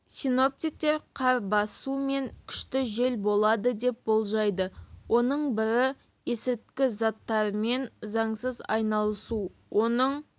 синоптиктер қар басу мен күшті жел болады деп болжайды оның бірі есірткі заттарымен заңсыз айналысу оның